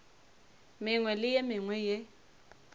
mengwe le ye mengwe ye